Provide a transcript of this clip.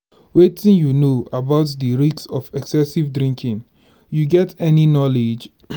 wetin you know about di risks of excessive drinking you get any knowledge?